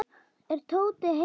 Er Tóti heima?